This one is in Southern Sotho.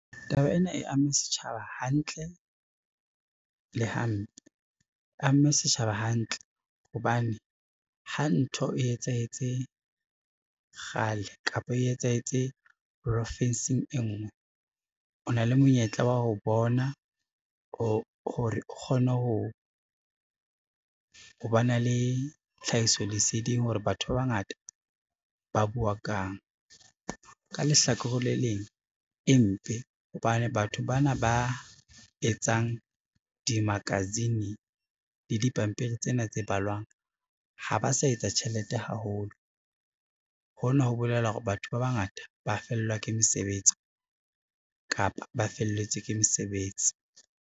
Taba ena e amme setjhaba hantle le hampe. E amme setjhaba hantle, hobane ha ntho e etsahetse kgale kapa e etsahetse profinsing e ngwe o na le monyetla wa ho bona ho hore o kgone ho ba na le tlhahiso leseding hore batho ba bangata ba bua kang. Ka lehlakore le leng e mpe hobane batho bana ba etsang di-magazine le dipampiri tsena tse balwang, ha ba sa etsa tjhelete haholo hona ho bolela hore batho ba bangata ba fellwa ke mesebetsi kapa ba felletswe ke mesebetsi.